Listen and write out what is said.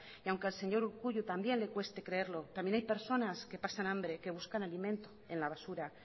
y aunque al señor urkullu también le cueste creerlo también hay personas que pasan hambre que buscan alimento en la basura